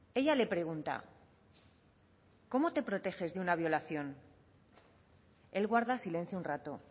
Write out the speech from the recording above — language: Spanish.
ella le pregunta cómo te proteges de una violación él guarda silencio un rato